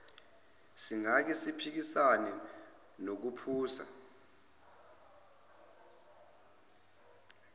singake siphikisane nokuphusa